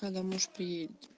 когда муж приедет